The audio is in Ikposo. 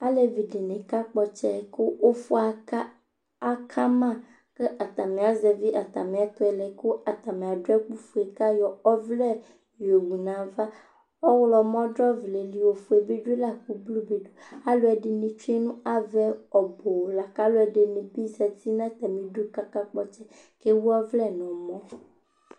alɛvi dini ka kpɔ ɔtsɛ kʋ ʋƒʋ aka aka ama kʋ atami azɛvi atami ɛtʋɛlɛ kʋ atami adʋ ɛkʋ ƒʋɛ kʋ ayɔ ɔvlɛ yɔwʋ nʋ aɣa, ɔwlɔmɔ dʋ ɔvlɛli ɔƒʋɛ bidʋ lakʋ blʋe bidʋ, alʋɛdini twɛnʋ aɣaɛ ɔbʋ lakʋ alʋɛdini bi zati nʋ atamiidʋkʋ aka kpɔ ɔtsɛ kʋ ɛwʋ ɔvlɛ nʋ ɔmɔ